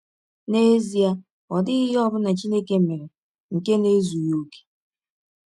N’ezie, ọ dịghị ihe ọ bụla Chineke mere nke na - ezụghị ọkè.